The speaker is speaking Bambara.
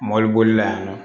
Mɔbili bolila yan nɔ